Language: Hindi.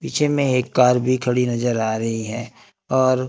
पीछे एक कार भी खड़ी नजर आ रही है और--